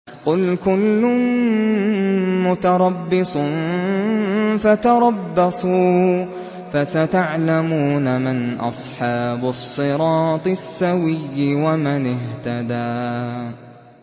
قُلْ كُلٌّ مُّتَرَبِّصٌ فَتَرَبَّصُوا ۖ فَسَتَعْلَمُونَ مَنْ أَصْحَابُ الصِّرَاطِ السَّوِيِّ وَمَنِ اهْتَدَىٰ